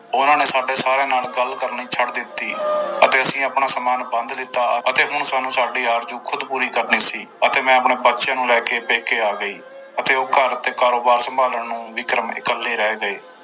ਉਹਨਾਂ ਨੇ ਸਾਡੇ ਸਾਰਿਆਂ ਨਾਲ ਗੱਲ ਕਰਨੀ ਛੱਡ ਦਿੱਤੀ ਅਤੇ ਅਸੀਂ ਆਪਣਾ ਸਮਾਨ ਬੰਧ ਲਿੱਤਾ ਅਤੇ ਹੁਣ ਸਾਨੂੰ ਸਾਡੀ ਆਰਜੂ ਖ਼ੁਦ ਪੂਰੀ ਕਰਨੀ ਸੀ ਅਤੇ ਮੈਂ ਆਪਣੇ ਬੱਚਿਆਂ ਨੂੰ ਲੈ ਕੇ ਪੇਕੇ ਆ ਗਈ ਅਤੇ ਉਹ ਘਰ ਅਤੇ ਕਾਰੋਬਾਰ ਸੰਭਾਲਣ ਨੂੰ ਵਿਕਰਮ ਇਕੱਲੇ ਰਹਿ ਗਏ।